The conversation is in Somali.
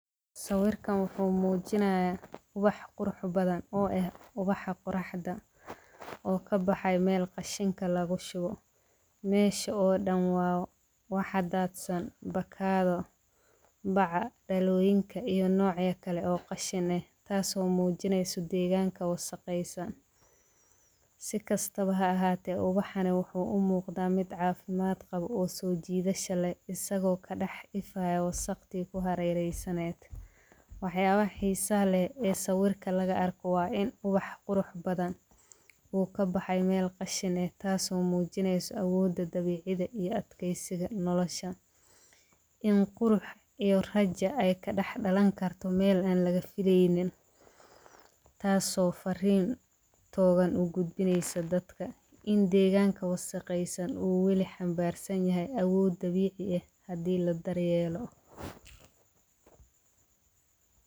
Sawirkan wuxuu muujinaya ubax qurux badan oo eh ubax quraxda oo ka baxay meel qashanka lagu shubo. Meesha oo dhan waa waxa daadsoon bakkaada, bacca, dhalluyinka iyo noocya kale oo qashane taasoo muujineysu deegaanka waa saqaysan. Si kastaba ha ahaatee, ubaxanay wuxuu u muuqda mid caafimaad qab oo sujiidayaasha la isagoo ka dhax ifa ay waqti ku hareeraysaneed. Waxee, awaxiisa leh ee sawirka laga arko waa inubax qurx badan uu ka baxay meel qashane taasoo muujineysu awoodda dabiicida iyo adkaysiga nolosha. In qurx iyo rajay ka dhaxdhalan karto meel aan laga filaynin, taasoo fariintoon u gudbinaysa dadka. In deegaanka waqooyi saakay u welin xambaarsan yahay awood dabiici ah haddii la daryeelo.